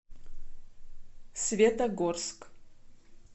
светогорск